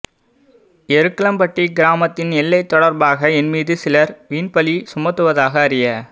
எருக்கலம்பிட்டி கிராமத்தின் எல்லை தொடர்பாக என்மீது சிலர் வீண்பழி சுமத்துவதாக அறிய